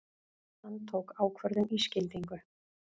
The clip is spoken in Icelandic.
Hann tók ákvörðun í skyndingu.